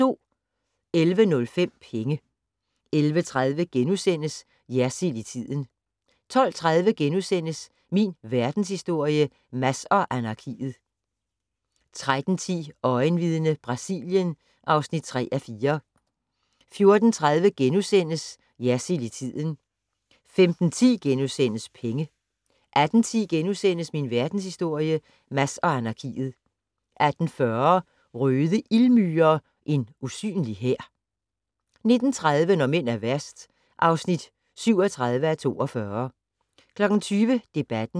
11:05: Penge 11:30: Jersild i tiden * 12:30: Min Verdenshistorie - Mads og anarkiet * 13:10: Øjenvidne - Brasilien (3:4) 14:30: Jersild i tiden * 15:10: Penge * 18:10: Min Verdenshistorie - Mads og anarkiet * 18:40: Røde ildmyrer - en usynlige hær 19:30: Når mænd er værst (37:42) 20:00: Debatten